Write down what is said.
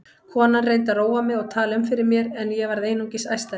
Konan reyndi að róa mig og tala um fyrir mér en ég varð einungis æstari.